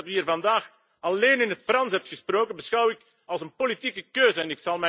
Dus het feit dat u hier vandaag alleen in het Frans heeft gesproken, beschouw ik als een politieke keuze.